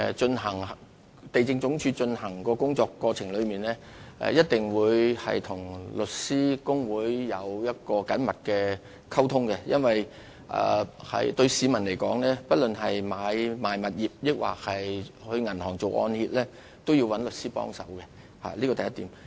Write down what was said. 主席，地政總署在有關工作過程中，一定會與香港律師會保持緊密的溝通，因為對市民來說，不論是買賣物業或到銀行辦理按揭，都一定要找律師幫忙，這是第一點。